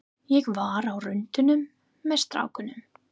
Ég var á rúntinum með strákunum.